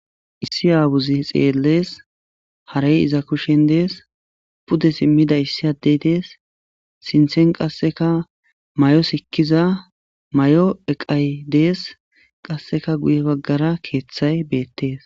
Issi aawuzi xeellees harey iza kushen dees pude simmida issi addey dees sinthen qasseka may'o sikkiza may'o eqay dees qasseka guye baggara keeththay beettees